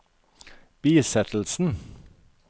bisettelsen